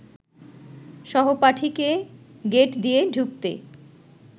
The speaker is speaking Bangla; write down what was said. সহপাঠীকে গেট দিয়ে ঢুকতে